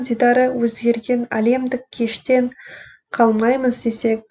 дидары өзгерген әлемдік кештен қалмаймыз десек